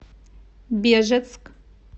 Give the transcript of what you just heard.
бежецк